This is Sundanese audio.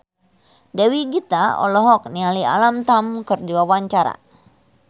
Dewi Gita olohok ningali Alam Tam keur diwawancara